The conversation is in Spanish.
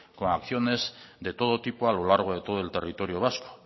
con acciones de todo tipo a lo largo de todo el territorio vasco